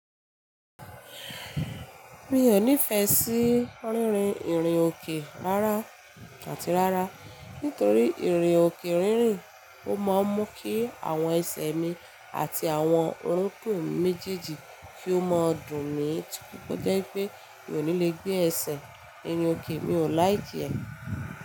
Mi ò nífẹẹ sí rínrin ìrìnòkè rárá àti rárá nítorí ìrìnòkè rínrin ó máa ń mú kí àwọn ẹsẹ̀ mi àti àwọn orúnkún mi mejeeji kí ó máa dùn mí tó jẹ wipé mi ò ní le gbé ẹsẹ̀ nínú òkè mi ò like ẹ.